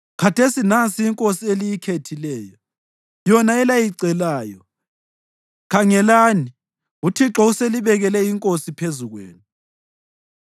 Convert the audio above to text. Khathesi nansi inkosi eliyikhethileyo, yona elayicelayo; khangelani, uThixo uselibekele inkosi phezu kwenu.